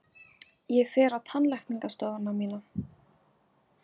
Ég fer á tannlæknastofuna mína!